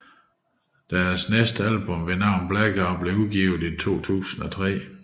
Deres næste album ved navn Blackout blev udgivet i 2003